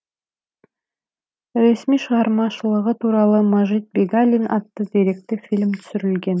ресми шығармашылығы туралы мажит бегалин атты деректі фильм түсірілген